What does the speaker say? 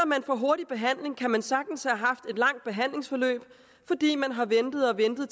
man får hurtig behandling kan man sagtens have haft et langt behandlingsforløb fordi man har ventet og ventet